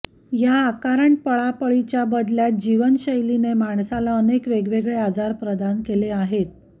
या अकारण पळापळीच्या पबदलत्या जीवनशैलीने माणसाला अनेक वेगवेगळे आजार प्रदान केले आहेत